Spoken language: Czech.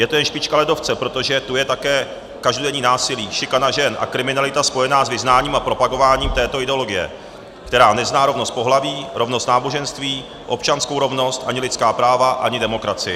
Je to jen špička ledovce, protože tu je také každodenní násilí, šikana žen a kriminalita spojená s vyznáním a propagováním této ideologie, která nezná rovnost pohlaví, rovnost náboženství, občanskou rovnost, ani lidská práva, ani demokracii.